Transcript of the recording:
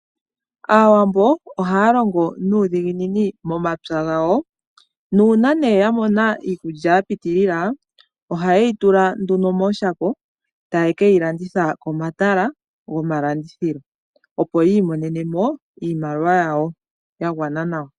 Aawambo ohaya longo nuudhiginini momapya gawo. Nuuna ne yamona iikulya yapitilila, ohayeyi tula mooshako, taye keyi landitha pomatala gomalandithilo, opo imonenemo iimaliwa yawo.